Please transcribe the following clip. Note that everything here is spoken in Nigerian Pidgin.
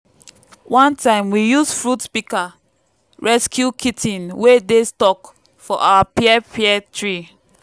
one time we use fruit pika rescue kit ten wey dey stuck for our pear pear tree.